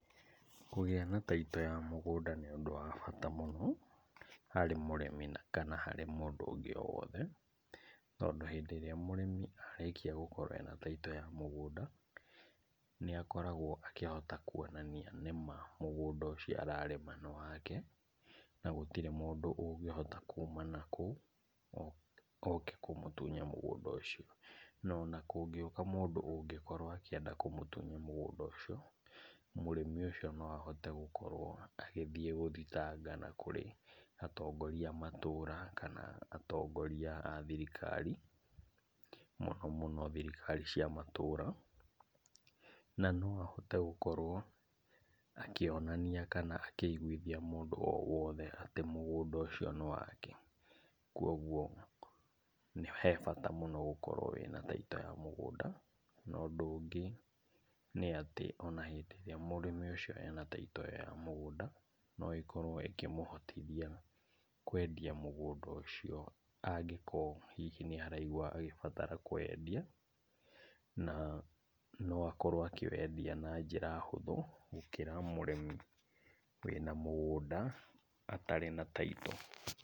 Kũgĩa na taitũ ya mũgũnda nĩ ũndũ wa bata mũno harĩ mũrĩmi na kana harĩ mũndũ ũngĩ o wothe, tondũ hĩndĩ ĩrĩa mũrĩmi arĩkia gũkorwo ena taitũ ya mũgũnda, nĩakoragwo akĩhota kuonania nĩma mũgũnda ũcio ararĩma nĩ wake, na gũtirĩ mũndũ ũngĩhota kuma nakũu oke kũmũtunya mũgũnda ũcio, na ona kũngĩũka mũndũ ũngĩkorwo akĩenda kũmũtunya mũgũnda ũcio, mũrĩmi ũcio no ahote gũkorwo agĩthiĩ gũthitanga na kũrĩ atongoria a matũra kana atongoria a thirikari, mũno mũno thirikari cia matũra, na no ahote gũkorwo akĩonania kana akĩiguithia mũndũ o wothe atĩ mũgũnda ũcio nĩ wake. Kuoguo he bata mũno gũkorwo wĩna taitũ ya mũgũnda. Na, ũndũ ũngĩ nĩatĩ ona hĩndĩ ĩrĩa mũrĩmi ũcio ena taitũ ĩyo ya mũgũnda, no ĩkorwo ĩkĩmũhotithia kwendia mũngũnda ũcio angĩkorwo hihi nĩaraigua agĩbatara kũwendia, na no akorwo akĩwendia na njĩra hũthũ gũkĩra mũrĩmi wĩna mũgũnda atarĩ na taitũ.